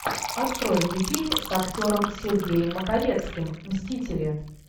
открой мне фильм с актером сергеем маковецким мстители